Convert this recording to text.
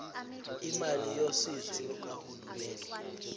imali yosizo lukahulumeni